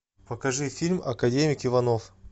покажи фильм академик иванов